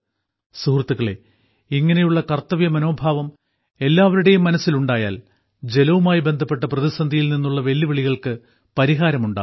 സുഹൃത്തുക്കളേ ഇങ്ങനെയുള്ള കർത്തവ്യമനോഭാവം എല്ലാവരുടെയും മനസ്സിലുണ്ടായാൽ ജലവുമായി ബന്ധപ്പെട്ട പ്രതിസന്ധിയിൽ നിന്നുള്ള വെല്ലുവിളികൾക്ക് പരിഹാരം ഉണ്ടാകും